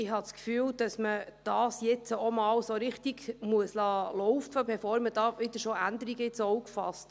Ich habe den Eindruck, dass man das jetzt auch erst einmal so richtig laufen lassen muss, bevor man hier schon wieder Änderungen ins Auge fasst.